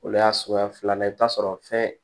O y'a suguya filanan ye i bɛ taa sɔrɔ fɛn